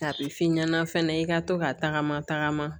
A bɛ f'i ɲɛna fɛnɛ i ka to ka tagama tagama